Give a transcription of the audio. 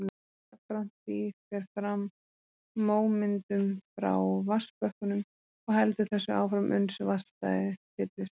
Jafnframt því fer fram mómyndun frá vatnsbökkunum og heldur þessu áfram uns vatnsstæðið fyllist.